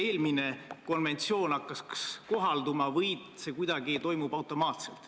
Nii et ma ei tea, kas te sellise otsuse tegemisel saate teise põhjendusena ikka toetuda kolmanda inimese ütlusele.